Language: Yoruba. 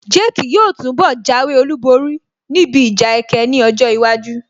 Jake yóò túnbọ̀ jáwé olúborí níbi ìjà ẹkẹ ní ọjọ́ iwájú